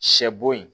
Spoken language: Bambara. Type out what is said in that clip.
Sɛ bo yen